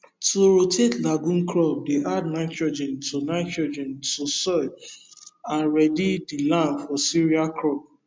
to rotate lagume crop dey add nitrogen to nitrogen to soil and ready the land for sireal crop